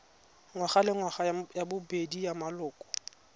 ngwagalengwaga ya bobedi ya maloko